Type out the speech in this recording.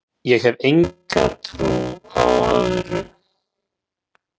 Ég hef enga trú á öðru